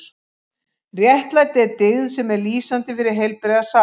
Réttlæti er dyggð sem er lýsandi fyrir heilbrigða sál.